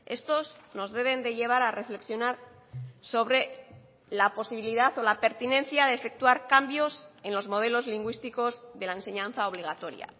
estos nos deben de llevar a reflexionar sobre la posibilidad o la pertinencia de efectuar cambios en los modelos lingüísticos de la enseñanza obligatoria